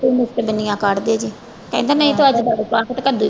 ਕੱਢਦੇ ਜੇ ਕਹਿੰਦਾ ਨਹੀਂ ਤੂੰ ਅੱਜ ਤੜਕਾ ਤੇ ਕੱਦੂ